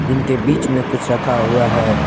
जिनके बीच में कुछ रखा हुआ है।